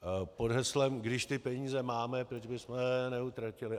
Pod heslem když ty peníze máme, proč bychom je neutratili.